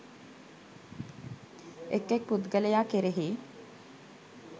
එක් එක් පුද්ගලයා කෙරෙහි,